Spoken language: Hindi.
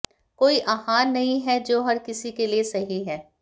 कोई आहार नहीं है जो हर किसी के लिए सही है